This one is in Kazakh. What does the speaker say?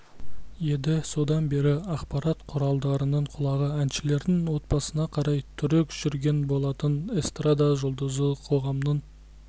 еді содан бері ақпарат құралдарының құлағы әншілердің отбасына қарай түрік жүрген болатын эстрада жұлдызы қоғамның